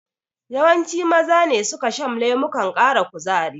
Yawanci Maza ne suka shan lemukan ƙara kuzari.